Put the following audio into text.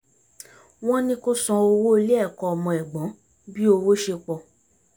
wọ́n ní kó san owó ilé ẹ̀kọ́ ọmọ ẹ̀gbọ́n bí owó ṣe pọ̀